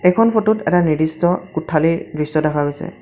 এইখন ফটোত এটা নিৰ্দিষ্ট কোঠালীৰ দৃশ্য দেখা গৈছে।